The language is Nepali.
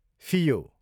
फियो